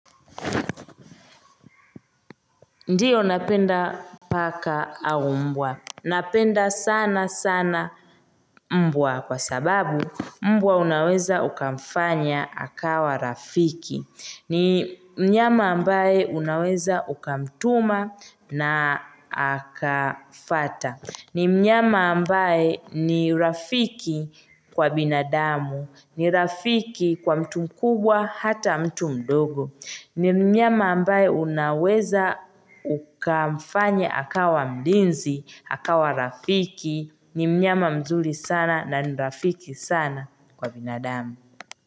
Ndiyo napenda paka au mbwa. Napenda sana sana mbwa kwa sababu mbwa unaweza ukamfanya akawa rafiki. Ni mnyama ambaye unaweza ukamtuma na akafata. Ni mnyama ambaye ni rafiki kwa binadamu. Ni rafiki kwa mtu mkubwa hata mtu mdogo. Ni mnyama ambaye unaweza ukamfanya akawa mlinzi, akawa rafiki, ni mnyama mzuri sana na ni rafiki sana kwa binadamu.